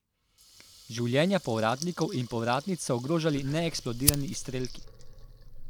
Življenja povratnikov in povratnic so ogrožali neeksplodirani izstrelki.